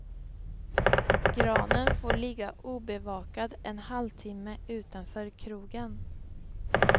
Granen får ligga obevakad en halvtimme utanför krogen.